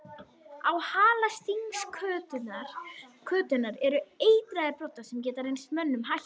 Á hala stingskötunnar eru eitraðir broddar sem geta reynst mönnum hættulegir.